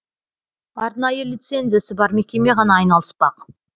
арнайы лицензиясы бар мекеме ғана айналыспақ